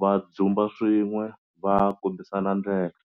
va dzumba swin'we va kombisana ndlela.